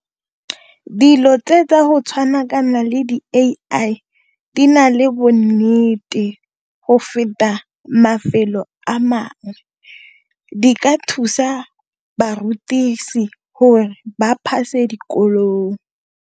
Dilo tse tsa go tshwana le di A_ I di na le bonnete go feta mafelo a mangwe, di ka thusa barutisi hore ba pass-e dikolong.